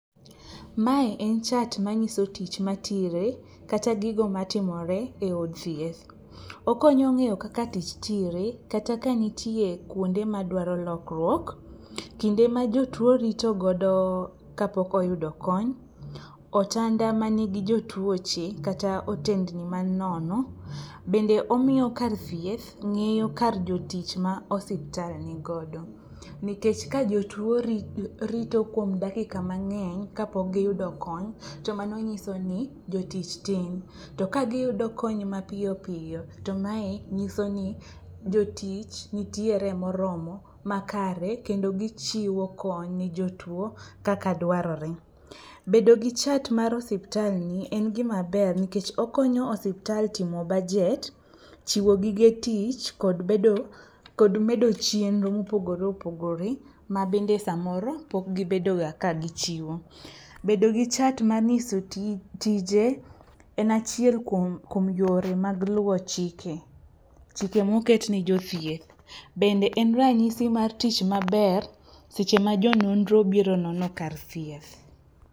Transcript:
Mae en chat manyiso tich matire kata gigo matimore e od thieth. Okonyo ng'eyo kaka tich tire kata kanitie kuonde madwaro lokruok, kinde ma jotuo ritogodo kapok oyudo kony, otanda manigi jotuoche kata otendni man nono. Bende omiyo kar thieth ng'iyo kar jotich ma osiptal nigodo, nikech ka jotuo rito kuom dakika mang'eny kapok giyudo kony to mano nyiso ni jotich tin. To kagiyudo kony mapiyo piyo to mae nyiso ni jotich nitiere moromo makare kendo gichiwo kony ne jotuo kaka dwarore. Bedo gi chat mar osiptalni en gimaber nikech okonyo osiptal timo bajet, chiwo gige tich kod medo chenro mopogore opogore mabende samoro pok gibedoga ka gichiwo. Bedo gi chat manyiso tije en achiel kuom yore mag luwo chike, chike moketne jochieth. Bende en ranyisi maber seche ma jo nonro obiro nono kar thieth.